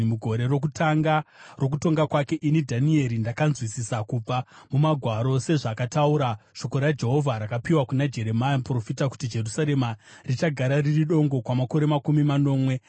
mugore rokutanga rokutonga kwake, ini Dhanieri, ndakanzwisisa kubva muMagwaro, sezvakataura shoko raJehovha rakapiwa kuna Jeremia muprofita, kuti Jerusarema richagara riri dongo kwamakore makumi manomwe.